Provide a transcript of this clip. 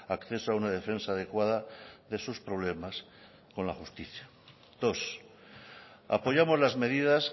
acceso a una defensa adecuada de sus problemas con la justicia dos apoyamos las medidas